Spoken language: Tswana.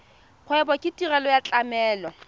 kgwebo ke tirelo ya tlamelo